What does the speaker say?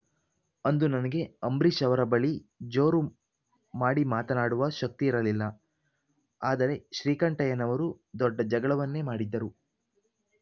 ಅಂದು ನನಗೆ ಅಂಬರೀಶ್‌ ಅವರ ಬಳಿ ಜೋರು ಮಾಡಿ ಮಾತನಾಡುವ ಶಕ್ತಿ ಇರಲಿಲ್ಲ ಆದರೆ ಶ್ರೀಕಂಠಯ್ಯನವರು ದೊಡ್ಡ ಜಗಳವನ್ನೇ ಮಾಡಿದ್ದರು